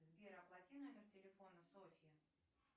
сбер оплати номер телефона софьи